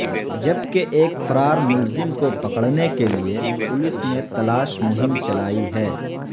جبکہ ایک فرار ملزم کو پکڑنے کے لئے پولیس نے تلاش مہم چلائی ہے